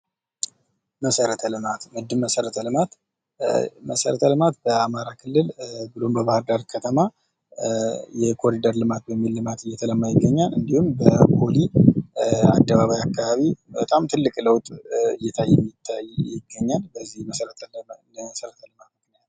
መሠረተ ልማት። መሰረተ ልማት በአማራ ክልል ብሎም በባህር ዳር ከተማ የኮሪደር ልማት በሚል ልማት እየተለማ ይገኛል። እንዲሁም በፖሊ አደባባይ አካባቢ በጣም ትልቅ ለውጥ እየታየ ይገኛል በዚህ የመሰረተ ልማት ምክንያት ነው።